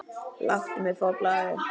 Láttu mig fá blaðið!